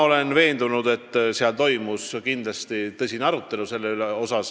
Olen veendunud, et seal toimus tõsine arutelu.